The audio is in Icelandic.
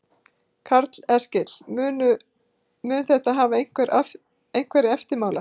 Karl Eskil: Mun þetta hafa einhverja eftirmála?